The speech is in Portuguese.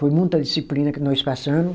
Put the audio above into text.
Foi muita disciplina que nós passamo.